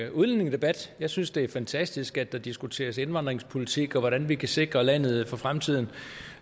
en udlændingedebat jeg synes det er fantastisk at der diskuteres indvandringspolitik og hvordan vi kan sikre landet for fremtiden